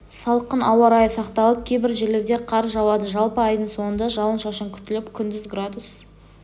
салқын ауа райы сақталып кейбір жерлерде қар жауады жалпы айдың соңында жауын-шашын күтіліп күндіз градус